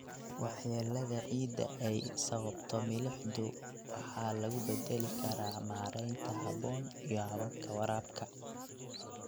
Waxyeellada ciidda ee ay sababto milixdu waxa lagu beddeli karaa maaraynta habboon iyo hababka waraabka.